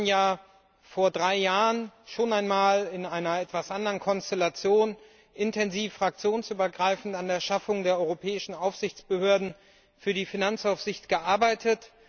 Wir haben ja vor drei Jahren schon einmal in einer etwas anderen Konstellation intensiv fraktionsübergreifend an der Schaffung der europäischen Aufsichtsbehörden für die Finanzaufsicht gearbeitet.